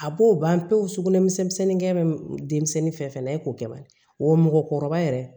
A b'o ban pewu sugunɛ misɛnnin gumisɛnnin fɛn fɛn na e k'o kɛ bali wa mɔgɔkɔrɔba yɛrɛ